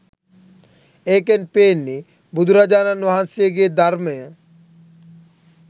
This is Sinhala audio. ඒකෙන් පේන්නේ බුදුරජාණන් වහන්සේගේ ධර්මය